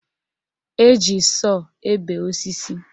Eji sọọ ebe osisi